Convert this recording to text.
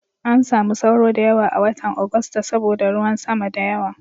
An samu sauro da yawa a watan Agusta saboda ruwan sama da yawa.